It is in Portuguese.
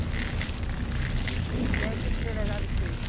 E aí, o que que o delegado fez?